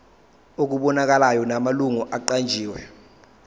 okubonakalayo namalungu aqanjiwe